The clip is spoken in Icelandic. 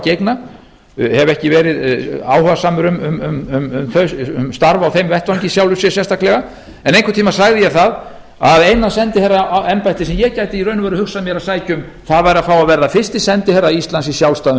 á að gegna hef ekki verið áhugasamur um starf á þeim vettvangi í sjálfu sér sérstaklega en einhvern tíma sagði ég það að eina sendiherraembættið sem ég gæti í raun og veru hugsað mér að sækja um væri að fá að verða fyrsti sendiherra íslands í sjálfstæðum